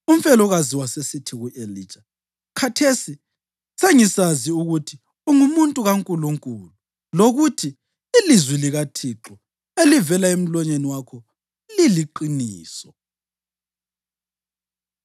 Umfelokazi wasesithi ku-Elija, “Khathesi sengisazi ukuthi ungumuntu kaNkulunkulu lokuthi ilizwi likaThixo elivela emlonyeni wakho liliqiniso.”